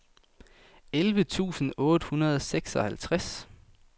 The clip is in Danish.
elleve tusind otte hundrede og seksoghalvtreds